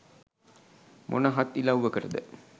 මොන හත් ඉලව්වකටද